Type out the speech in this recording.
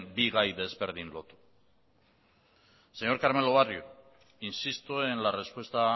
bi gai desberdin lotu señor carmelo barrio insisto en la respuesta